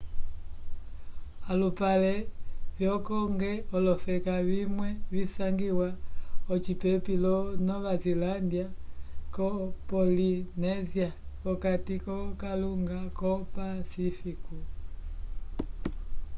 alupale vyo cook olofeka vimwe visangiwa ocipepi lo nova zilândia ko pollinésia p'okati k'okalunga wo pacífico